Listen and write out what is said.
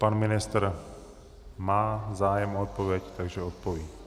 Pan ministr má zájem o odpověď, takže odpoví.